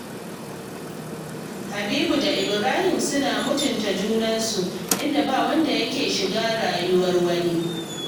Habibu da Ibrahim suna mutunta junansu, inda ba wanda yake shiga rayuwar wani